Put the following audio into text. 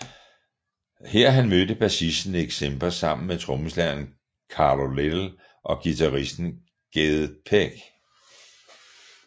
Her han mødte bassisten Nick Simper sammen med trommeslageren Carlo Little og guitaristen Ged Peck